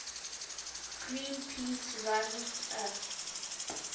greenpeace runs a